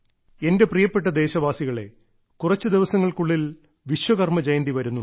എന്റെ പ്രിയപ്പെട്ട ദേശവാസികളേ കുറച്ചു ദിവസങ്ങൾക്കുള്ളിൽ വിശ്വകർമ്മജയന്തി വരുന്നുണ്ട്